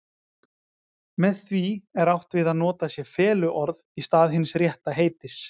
Með því er átt við að notað sé feluorð í stað hins rétta heitis.